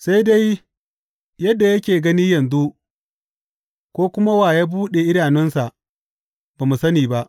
Sai dai yadda yake gani yanzu, ko kuma wa ya buɗe idanunsa, ba mu sani ba.